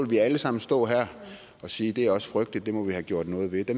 vi alle sammen stå her og sige det er også frygteligt og det må vi have gjort noget ved de